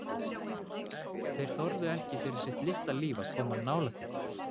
Þeir þorðu ekki fyrir sitt litla líf að koma nálægt ykkur.